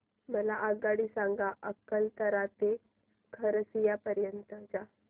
मला आगगाडी सांगा अकलतरा ते खरसिया पर्यंत च्या